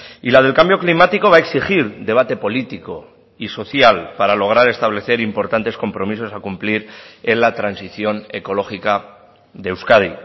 y la del cambio climático va a exigir debate político y social para lograr establecer importantes compromisos a cumplir en la transición ecológica de euskadi